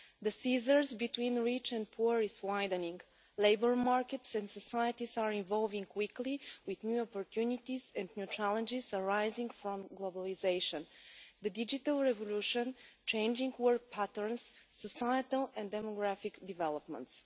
The scission between rich and poor is widening. Labour markets and societies are evolving quickly with new opportunities and new challenges arising from globalisation, the digital revolution, changing work patterns and societal and demographic developments.